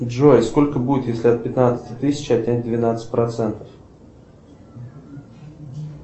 джой сколько будет если от пятнадцати тысяч отнять двенадцать процентов